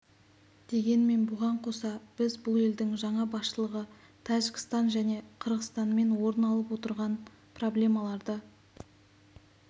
дегенмен бұған қоса біз бұл елдің жаңа басшылығы тәжікстан және қырғызстанмен орын алып отырған проблемаларды